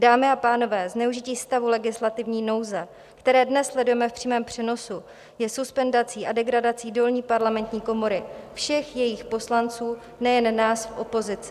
Dámy a pánové, zneužití stavu legislativní nouze, které dnes sledujeme v přímém přenosu, je suspendací a degradací dolní parlamentní komory, všech jejích poslanců, nejen nás v opozici.